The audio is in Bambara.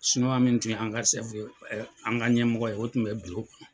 min tun ye an ka ɲɛmɔgɔ ye o tun bɛ .